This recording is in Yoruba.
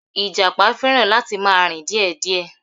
Ìjàpá fẹràn láti ma rìn díè díè